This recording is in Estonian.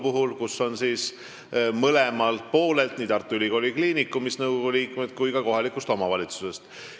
Nõukogus on liikmeid nii Tartu Ülikooli Kliinikumist kui ka kohalikust omavalitsusest.